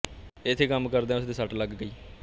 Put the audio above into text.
ਇੱਥੇ ਕੰਮ ਕਰਦਿਆਂ ਉਸ ਦੇ ਸੱਟ ਲੱਗ ਗਈ